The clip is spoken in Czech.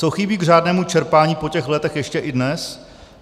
Co chybí k řádnému čerpání po těch letech ještě i dnes?